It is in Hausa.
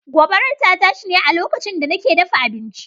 Gobarar ta tashi ne a da nake dafa abinci.